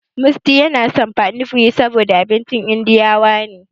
Musty yana son pani puri saboda abincin indiyawa ne.